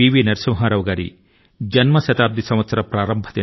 నరసింహారావు గారి శత జయంతి సంవత్సరం ప్రారంభమైంది